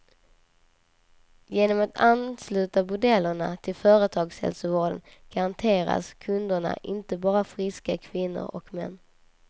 Genom att ansluta bordellerna till företagshälsovården garanteras kunderna inte bara friska kvinnor och män.